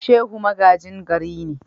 Shehu magajin gari ne.